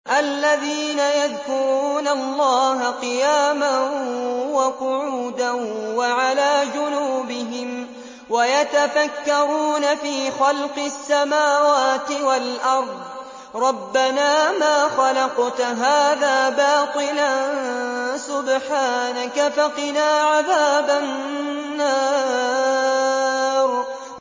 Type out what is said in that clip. الَّذِينَ يَذْكُرُونَ اللَّهَ قِيَامًا وَقُعُودًا وَعَلَىٰ جُنُوبِهِمْ وَيَتَفَكَّرُونَ فِي خَلْقِ السَّمَاوَاتِ وَالْأَرْضِ رَبَّنَا مَا خَلَقْتَ هَٰذَا بَاطِلًا سُبْحَانَكَ فَقِنَا عَذَابَ النَّارِ